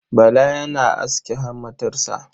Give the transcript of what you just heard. Bala yana aske hammatarsa.